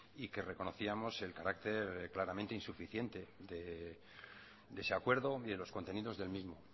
y que reconocíamos el carácter claramente insuficiente de ese acuerdo y de los contenidos del mismo